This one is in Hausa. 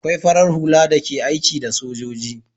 Akwai farar hula da ke aiki da sojoji